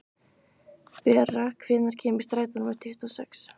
Bera, hvenær kemur strætó númer tuttugu og sex?